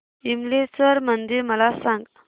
विमलेश्वर मंदिर मला सांग